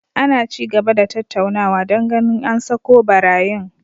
Ana ci gaba da tattaunawa don ganin an sako barayin